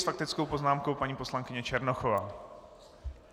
S faktickou poznámkou paní poslankyně Černochová.